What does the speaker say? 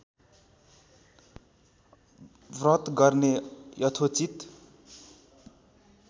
व्रत गर्ने यथोचित